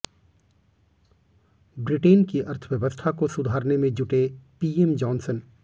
Britain की अर्थव्यवस्था को सुधारने में जुटे पीएम जॉनसन